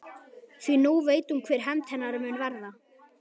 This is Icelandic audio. Því nú veit hún hver hefnd hennar mun verða.